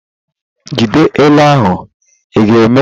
Jide ele ahụ, ị ​​ga-eme?